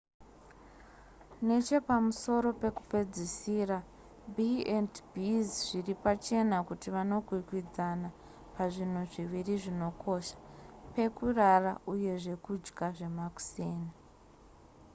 nechepamusoro pekupedzisira b&bs zviri pachena kuti vanokwikwidzana pazvinhu zviviri zvinokosha pekurara uye zvekudya zvemakuseni